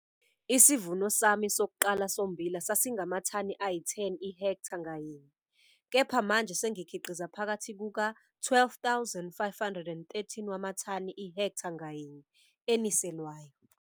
Isivuno sami sokuqala sommbila sasingamathani ayi-10 ihektha ngayinye, kepha manje sengikhiqiza phakathi kuka-12,5 13 wamathani ihektha ngayinye, eniselwayo.